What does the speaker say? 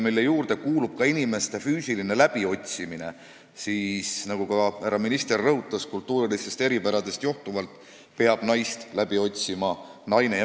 Sealse töö juurde kuulub ka inimeste füüsiline läbiotsimine ja nagu härra ministergi rõhutas, kultuurilistest eripäradest johtuvalt peab naist läbi otsima naine.